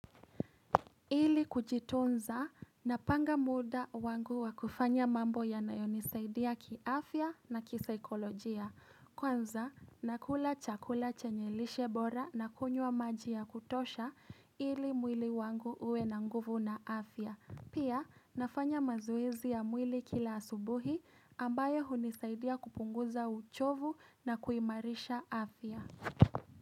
Ili kujitunza napanga muda wangu wa kufanya mambo yanayonisaidia ki afya na kisaikolojia Kwanza nakula chakula chenye lishe bora nakunywa maji ya kutosha ili mwili wangu uwe na nguvu na afya Pia nafanya mazoezi ya mwili kila asubuhi ambayo hunisaidia kupunguza uchovu na kuimarisha afya.